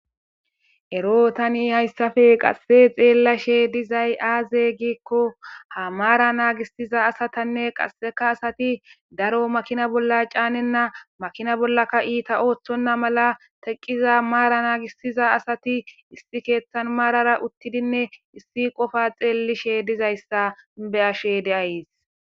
ero tani hayssafe qasse xeellashe dizay aaze giikko ha maara naagissiza asatanne qasseka asati daro makina bolla caanenna makina bollaka iita ooththonna mala teqqiza maara naagisiza asati issi keeththan maarara uttidinne issi qofa xeellishe dizayssa be'ashe de'ays